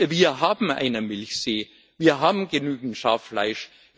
Wir haben einen Milchsee, wir haben genügend Schaffleisch.